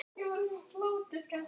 En skyldi þetta bragðast eins?